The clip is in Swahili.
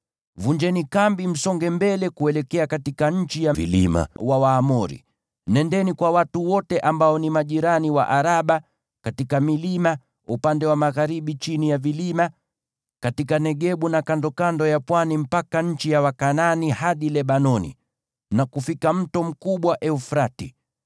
Vunjeni kambi, msonge mbele kuelekea nchi ya vilima ya Waamori; nendeni kwa watu wote ambao ni majirani wa Araba, katika milima, upande wa magharibi chini ya vilima, katika Negebu na kandokando ya pwani, mpaka nchi ya Wakanaani hadi Lebanoni, na kufika mto mkubwa Frati.